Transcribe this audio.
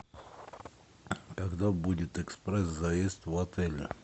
когда будет экспресс заезд в отеле